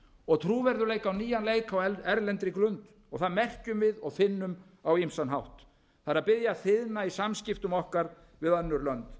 og trúverðugleika á nýjan leik á erlendri grund það merkjum við og finnum á ýmsan hátt það er byrja að þiðna í samskiptum við önnur lönd